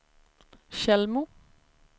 Tjällmo